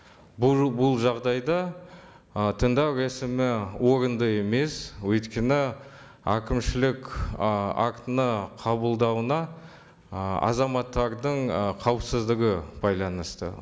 бұл бұл жағдайда ы тыңдау рәсімі орынды емес өйткені әкімшілік ы актіні қабылдауына ы азаматтардың ы қауіпсіздігі байланысты